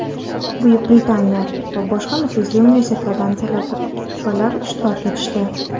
Buyuk Britaniya) va boshqa nufuzli universitetlardan talabalar ishtirok etishdi.